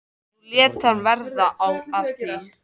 Nú lét hann verða af því.